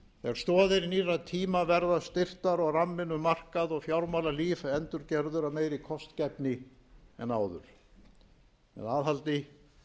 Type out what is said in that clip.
stoðir nýrra tíma verða styrktar og ramminn um markað og fjármálalíf endurgerður af meiri kostgæfni en áður með aðhaldi